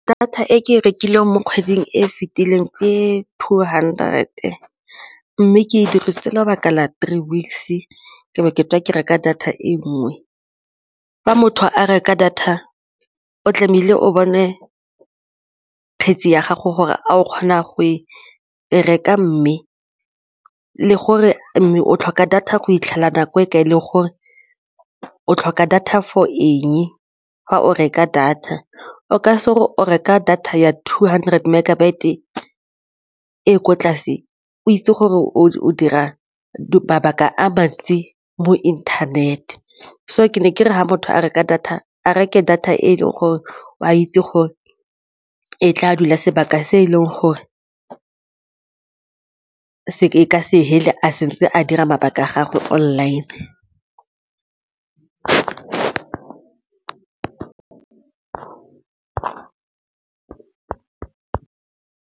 Data e ke e rekileng mo kgweding e fitileng ke two hundred-e mme ke dirisitse lebaka la three weeks-e ke bo ke tswa ke reka data e nngwe. Fa motho a reka data, o tlamehile o bone kgetse ya gago gore a o kgona go e reka mme le gore mme o tlhoka data go fitlhela nako e kae le gore o tlhoka data for eng, fa o reka data o gore o reka data ya two hundred megabyte e ko tlase o itse gore o dira mabaka a mo internet so ga motho a reka data a reke data e leng gore o a itse gore e tla dula sebaka se e leng gore e ka se fele a setse a dira mabaka a gagwe online.